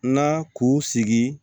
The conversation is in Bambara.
Na k'u sigi